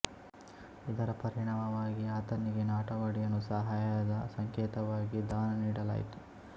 ಇದರ ಪರಿಣಾಮವಾಗಿ ಆತನಿಗೆ ನಾಟವಾಡಿಯನ್ನು ಸಹಾಯದ ಸಂಕೇತವಾಗಿ ದಾನ ನೀಡಲಾಯಿತು